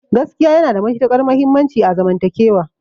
Gaskiya yana da matuƙar muhimmanci a zaman takewa